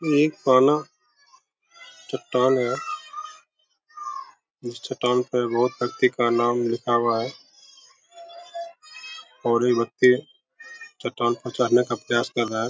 इ कोनो चट्टान है। इस चट्टान पे बहुत व्यक्ति का नाम लिखा हुआ है और ये बच्चे चट्टान पे जाने का प्रयास कर रहा है।